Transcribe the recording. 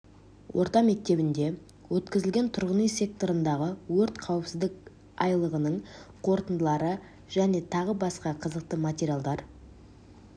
орта мектебінде өкізілген тұрғын-үй секторындағы өрт қауіпсіздік айлығының қорытындылары және тағы басқа қызықты материалдар